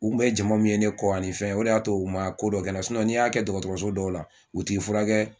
U bɛ jama min ye ne kɔ ni fɛ o y'a to u ma ko dɔ kɛ n na n'i y'a kɛ dɔgɔtɔrɔso dɔw la u t'i furakɛ